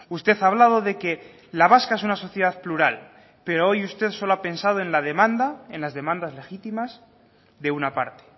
usted ha hablado de que la vasca es una sociedad plural pero hoy usted solo ha pensado en la demanda en las demandas legítimas de una parte